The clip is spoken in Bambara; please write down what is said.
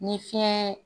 Ni fiɲɛ